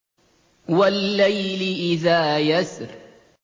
وَاللَّيْلِ إِذَا يَسْرِ